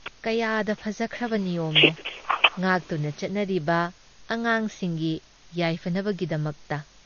ꯀꯌꯥꯗ ꯐꯖꯈ꯭ꯔꯕ ꯅꯤꯌꯝꯅꯣ ꯉꯥꯛꯇꯨꯅ ꯆꯠꯅꯔꯤꯕ ꯑꯉꯥꯡꯁꯤꯡꯒꯤ ꯌꯥꯏꯐꯅꯕꯒꯤꯗꯃꯛꯇ!